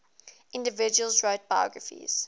individuals wrote biographies